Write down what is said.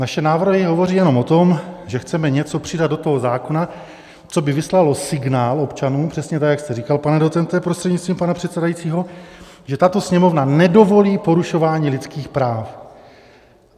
Naše návrhy hovoří jenom o tom, že chceme něco přidat do toho zákona, co by vyslalo signál občanům, přesně tak jak jste říkal, pane docente prostřednictvím pana předsedajícího, že tato Sněmovna nedovolí porušování lidských práv.